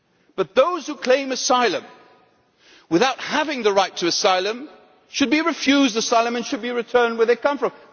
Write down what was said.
But those who claim asylum without having the right to asylum should be refused asylum and should be returned to where they come from.